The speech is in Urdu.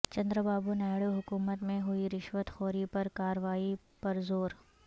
چندرابابونائیڈو حکومت میں ہوئی رشوت خوری پر کارروائی پرزور